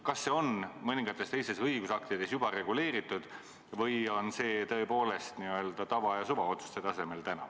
Kas see on mõningates teistes õigusaktides juba reguleeritud või on see tõepoolest täna n-ö tava- ja suvaotsuste tasemel?